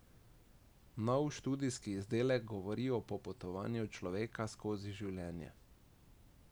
Nov studijski izdelek govori o popotovanju človeka skozi življenje.